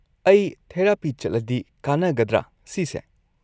ꯑꯩ ꯊꯦꯔꯥꯄꯤ ꯆꯠꯂꯗꯤ ꯀꯥꯟꯅꯒꯗ꯭ꯔꯥ ꯁꯤꯁꯦ?